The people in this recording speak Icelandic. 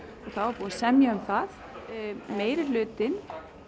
og búið að semja um það meirihlutinn